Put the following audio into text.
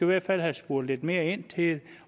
hvert fald have spurgt lidt mere ind til det